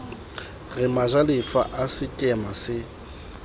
re majalefa a sekema se